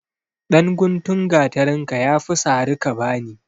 Ɗan guntun gatarinka ya fi sari ka ba ni.